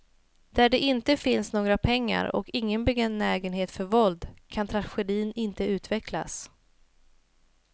Där det inte finns några pengar och ingen benägenhet för våld kan tragedin inte utvecklas.